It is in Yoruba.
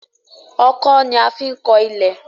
Ọkọ́ ní a fín kọ ilè.